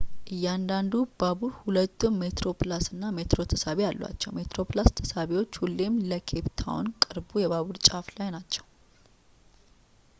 እያንዳንዱ ባቡር ሁለቱም ሜትሮፕላስ እና ሜትሮ ተሳቢዎች አሏቸው ሜትሮፕላስ ተሳቢዎቹ ሁሌም ለኬፕ ታውን ቅርቡ የባቡር ጫፍ ላይ ናቸው